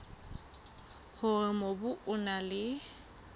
hore mobu o na le